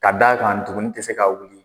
Ka d'a kan ndugunin tɛ se ka wuli.